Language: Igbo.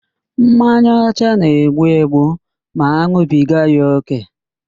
Mmanya ọcha na-egbu egbu ma an̄ụbiga ya ókè